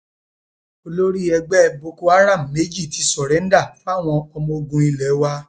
olórí ẹgbẹ boko haram méjì ti sọrèǹda fáwọn ọmọ ogun ilé wa